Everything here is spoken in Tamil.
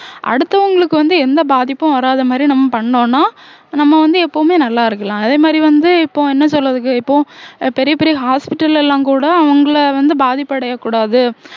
அடுத்தவங்களுக்கு வந்து எந்த பாதிப்பும் வராத மாதிரி நம்ம பண்ணோம்னா நம்ம வந்து எப்பவுமே நல்லா இருக்கலாம் அதே மாதிரி வந்து இப்போ என்ன சொல்றதுக்கு இப்போ பெரிய பெரிய hospital எல்லாம் கூட அவங்கள வந்து பாதிப்படையக்கூடாது